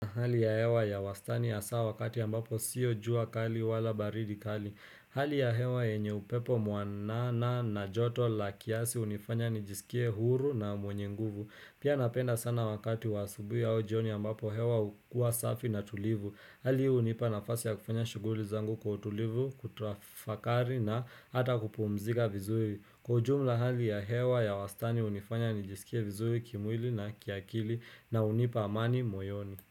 Hali ya hewa ya wastani hasaa wakati ambapo siyo jua kali wala baridi kali. Hali ya hewa enye upepo muanana na joto la kiasi unifanya nijisikie huru na mwenye nguvu. Pia napenda sana wakati wasubu ya ojioni ambapo hewa ukua safi na tulivu. Hali unipa nafasi ya kufanya shuguli zangu kutulivu, kutrafakari na ata kupumzika vizuri. Kujumla hali ya hewa ya wastani hunifanya nijisikie vizui kimwili na kiakili na unipa amani moyoni.